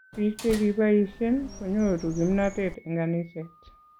Biik chekipaishen konyoru kimnatet eng kaniset